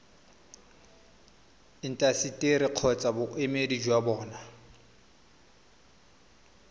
intaseteri kgotsa boemedi jwa bona